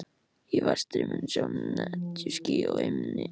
Í vestri sjást netjuský á himni.